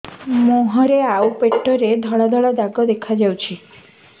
ମୁହଁରେ ଆଉ ପେଟରେ ଧଳା ଧଳା ଦାଗ ଦେଖାଯାଉଛି